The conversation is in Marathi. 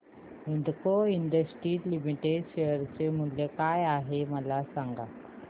हिंदाल्को इंडस्ट्रीज लिमिटेड शेअर मूल्य काय आहे मला सांगा